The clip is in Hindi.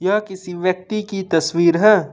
यह किसी व्यक्ति की तस्वीर है।